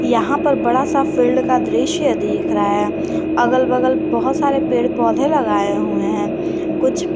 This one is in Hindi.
यहां पर बड़ा सा फील्ड का दृश्य दिख रहा है अगल बगल बहोत सारे पेड़ पौधे लगाए हुए हैं कुछ--